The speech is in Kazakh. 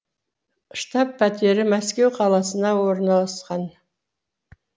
штаб пәтері мәскеу қаласында орналасқан